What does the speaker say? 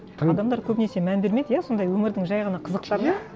адамдар көбінесе мән бермейді иә сондай өмірдің жай ғана қызықтарына иә